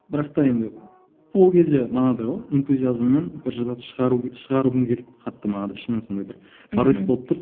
бірақта енді ол кезде манағыдай ғой энтузиазммен бір шығару шығарғым келді қатты манағыдай ішімнен сондай бір порыв болып тұрды